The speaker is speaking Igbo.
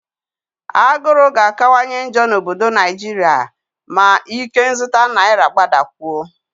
Agụrụ ga-akawanye njọ n'obodo Naijiria ma ikenzụta naira gbadakwuo